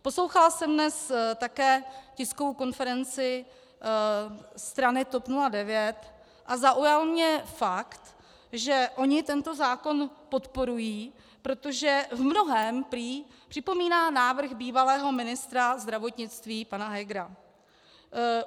Poslouchala jsem dnes také tiskovou konferenci strany TOP 09 a zaujal mě fakt, že oni tento zákon podporují, protože v mnohém prý připomíná návrh bývalého ministra zdravotnictví pana Hegera.